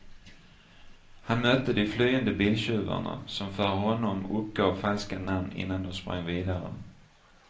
Han mötte de flyende biltjuvarna, som för honom uppgav falska namn innan de sprang vidare.